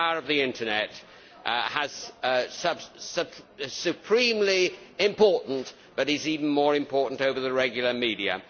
The power of the Internet is supremely important, but is even more important over the regular media.